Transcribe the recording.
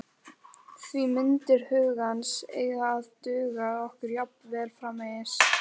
Því myndir hugans eiga að duga okkur jafnvel framvegis.